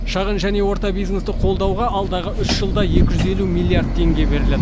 шағын және орта бизнесті қолдауға алдағы үш жылда екі жүз елу миллиард теңге беріледі